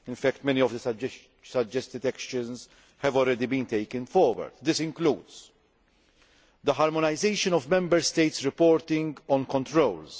in fact, many of the suggested actions have already been taken forward. This includes the harmonisation of Member States' reporting on controls.